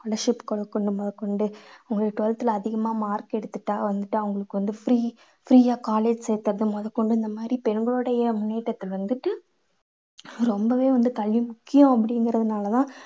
scholarship குடுக்கறது முதல் கொண்டு உங்களுக்கு twelfth ல அதிகமா mark எடுத்துட்டா வந்துட்டு அவங்களுக்கு வந்து free free யா college சேர்க்கறது முதல் கொண்டு இந்த மாதிரி பெண்களுடைய முன்னேற்றத்துக்கு வந்துட்டு ரொம்பவே வந்து கல்வி முக்கியம் அப்படிங்கறதுனால தான்